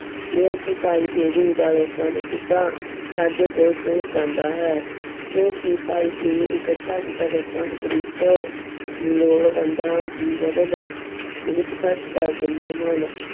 ਕਿਹਾ ਕਿ ਭਾਈ ਫੇਰੂ ਦਾ ਦਸਵੰਧ ਸਿੱਧਾ ਸਾਡੇ ਕੋਲ ਪਹੁੰਚ ਜਾਂਦਾ ਹੈ ਕਿਉਂਕਿ ਭਾਈ ਫੇਰੂ ਇਕੱਠਾ ਕੀਤਾ ਦਸਵੰਧ ਗ਼ਰੀਬਾਂ ਲੋੜਵੰਦਾਂ ਦੀ ਮਦਦ ਦੇ ਵਿੱਚ ਖ਼ਰਚ ਕਰ ਦਿੰਦੇ ਹਨ।